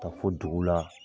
Ka taa fo dugu la.